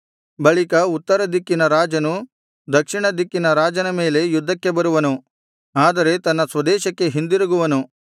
ಬಳಿಕ ಉತ್ತರ ದಿಕ್ಕಿನ ರಾಜನು ದಕ್ಷಿಣ ದಿಕ್ಕಿನ ರಾಜನ ಮೇಲೆ ಯುದ್ಧಕ್ಕೆ ಬರುವನು ಆದರೆ ತನ್ನ ಸ್ವದೇಶಕ್ಕೆ ಹಿಂದಿರುಗುವನು